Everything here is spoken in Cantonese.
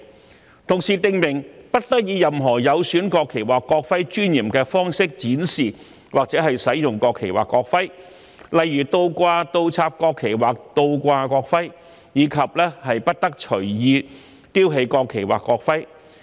同時，《條例草案》訂明不得以任何有損國旗或國徽尊嚴的方式展示或使用國旗或國徽，例如倒掛、倒插國旗或倒掛國徽，以及不得隨意丟棄國旗或國徽。